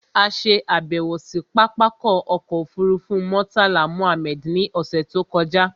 A ṣe àbẹ̀wò sí pápákọ̀ ọkọ̀ òfurufú Murtala Mohammed ní ọ̀ṣẹ̀ tó kọjá